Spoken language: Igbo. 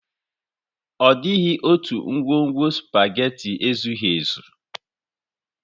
Ọ dịghị otu ngwugwu sụpaghetị ezughi ezu.